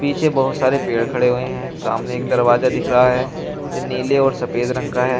पीछे बहोत सारे पेड़ खड़े हुए हैं सामने एक दरवाजा दिख रहा है जो नीले और सफेद रंग का है।